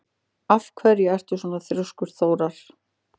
Af hverju ertu svona þrjóskur, Þórar?